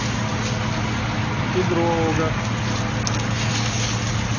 кедрового